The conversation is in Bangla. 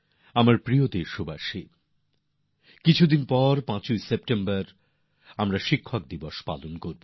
আমার প্রিয় দেশবাসী কিছুদিন পরেই পাঁচই সেপ্টেম্বর আমরা শিক্ষক দিবস পালন করবো